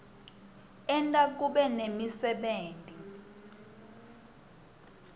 enta kube nemisebenti